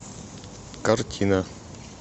картина